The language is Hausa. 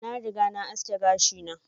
Na riga na aski gashi na.